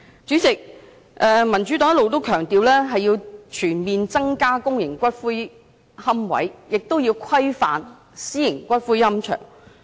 主席，民主黨一直強調，要全面增加公營骨灰龕位，亦要規範私營龕場。